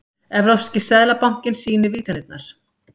Evrópski seðlabankinn sýnir vígtennurnar